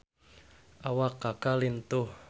Awak Kaka lintuh